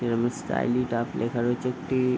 যেরম style it up লেখা রয়েছে একটি--